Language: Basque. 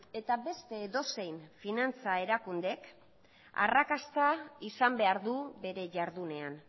eta beste edozein finantza erakundek arrakasta izan behar du bere jardunean